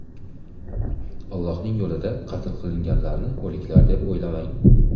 Allohning yo‘lida qatl qilinganlarni o‘liklar deb o‘ylamang!